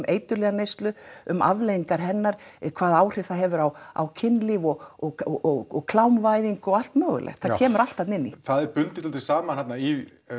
eiturlyfjaneyslu um afleiðingar hennar um hvað áhrif það hefur á á kynlíf og klámvæðingu og allt mögulegt það kemur allt þarna inn það er bundið dálítið saman þarna í